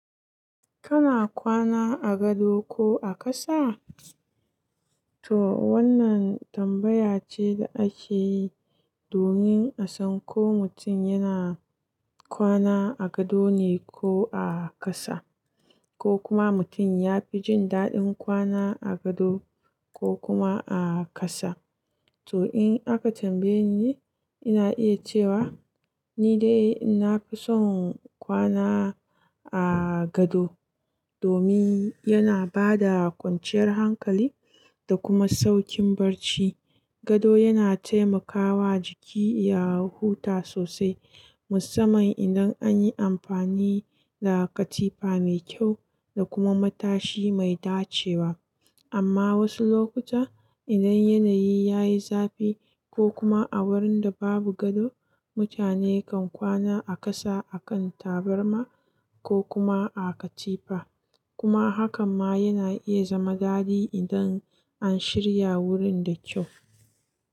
Kana kwana a gado ko a ƙasa? To wannan tambaya ce da ake yi domin a san ko mutum yana kwana a gado ne ko a ƙasa, ko kuma mutum ya fi jin daɗin kwana a gado ko kuma a ƙasa. To in aka tambaye ni, ina iya cewa ni dai ina fi son kwana a gado domin yana ba da kwanciyar hankali da kuma sauƙin barci. Gado yana taimakawa jiki ya huta sosai, musamman idan an yi amfani da katifa mai kyau da kuma matashi mai dacewa. Amma wasu lokuta, idan yanayi ya yi zafi ko kuma a wurin da babu gado, mutane kan kwana a ƙasa a kan tabarma ko kuma a katifa. Kuma hakan ma yana iya zama daɗi idan an shirya wurin da kyau.